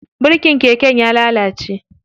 Birikin keken ya lalace.